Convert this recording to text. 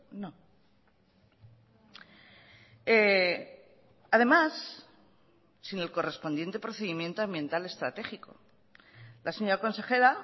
no además sin el correspondiente procedimiento ambiental estratégico la señora consejera